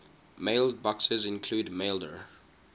mailboxes include maildir